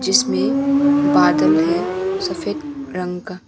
इसमें बादल है सफेद रंग का।